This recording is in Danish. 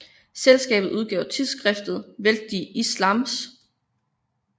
Selskabet udgav tidsskriftet Welt des Islams